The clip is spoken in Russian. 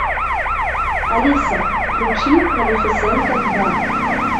алиса включи малефисента два